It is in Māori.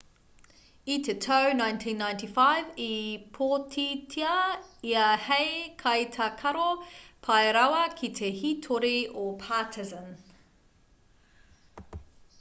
i te tau 1995 i pōtitia ia hei kaitākaro pai rawa ki te hītori o partizan